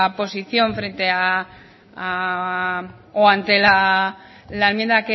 posición frente o ante la enmienda